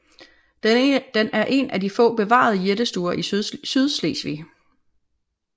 Den er en af de få bevarede jættestuer i Sydslesvig